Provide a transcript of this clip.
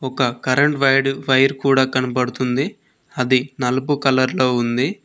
ఒక current wide wire కూడా కనబడుతుంది అది నలుపు కలర్ లో ఉంది.